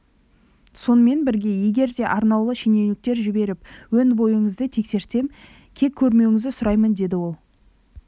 сонымен бірге егер де арнаулы шенеуніктер жіберіп өн-бойыңызды тексертсем кек көрмеуіңізді сұраймын деді ол